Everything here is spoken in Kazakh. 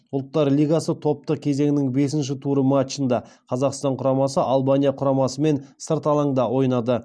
ұлттар лигасы топтық кезеңінің бесінші туры матчында қазақстан құрамасы албания құрамасымен сырт алаңда ойнады